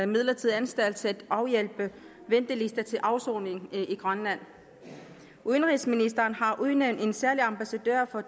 midlertidig anstalt til at afhjælpe ventelister til afsoning i grønland udenrigsministeren har udnævnt en særlig ambassadør for